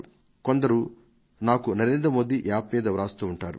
ఇంకొందరు నాకు NarendraModiApp మీద రాస్తూ ఉంటారు